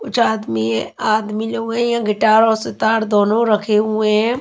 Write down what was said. कुछ आदमी है आदमी लोग हैं यहां गिटार और सितार दोनों रखे हुए हैं।